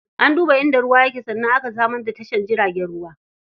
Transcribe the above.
An duba inda ruwa yake sannan aka samar da tasha jaragen ruwa.